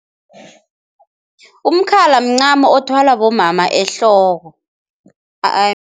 Umkhala mncamo othwalwa bomama ehloko